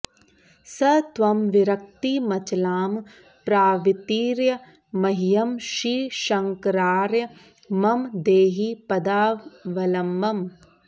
स त्वं विरक्तिमचलां प्रवितीर्य मह्यं श्रीशङ्करार्य मम देहि पदावलम्बम्